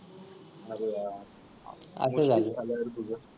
अरे यार आ आ तुला आल्यावर बघूया.